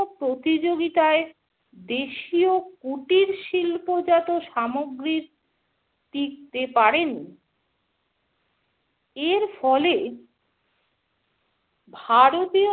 প্রতিযোগিতায় দেশীয় কুটির শিল্পজাত সামগ্রীর টিকতে পারেনি। এর ফলে ভারতীয়